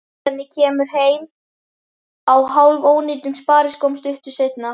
Svenni kemur heim á hálfónýtum spariskóm stuttu seinna.